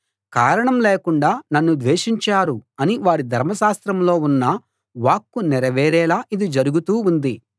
కారణం లేకుండా నన్ను ద్వేషించారు అని వారి ధర్మశాస్త్రంలో ఉన్న వాక్కు నెరవేరేలా ఇది జరుగుతూ ఉంది